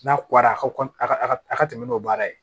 N'a ko a ka a ka tɛmɛ n'o baara ye